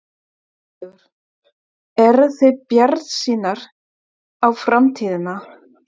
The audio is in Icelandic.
Sigurður: Eruð þið bjartsýnar á framtíðina?